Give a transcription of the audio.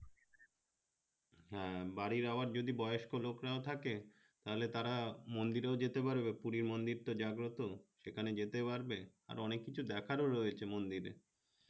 হ্যাঁ বাড়ির আবার যদি বয়স্ক লোক রা থাকে তাহলে তারা মন্দিরেও যেতে পারবে পুরি মন্দির টা যাবো তো সেখানে যেতে পারবে আর অনেক কিছু দেখার ও রয়েছে মন্দিরে